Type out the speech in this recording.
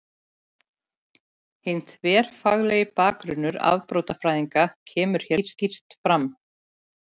Hinn þverfaglegi bakgrunnur afbrotafræðinnar kemur hér skýrt fram.